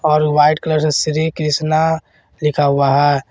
और white colour से श्री कृष्णा लिखा हुआ है।